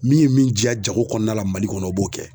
Min ye min diya jago kɔɔna la Mali kɔnɔ o b'o kɛ.